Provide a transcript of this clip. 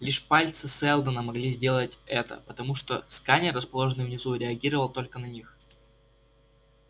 лишь пальцы сэлдона могли сделать это потому что сканер расположенный внизу реагировал только на них